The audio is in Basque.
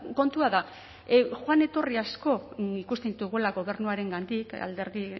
kontua da joan etorri asko ikusten ditugula gobernuarengandik alderdi